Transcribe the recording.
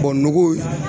O nɔgɔ